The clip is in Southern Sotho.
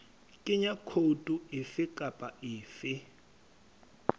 kenya khoutu efe kapa efe